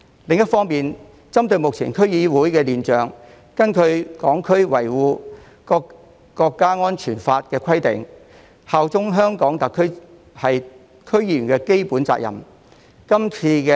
另一方面，針對目前區議會的亂象，根據《香港國安法》的規定，效忠香港特區是區議員的基本責任。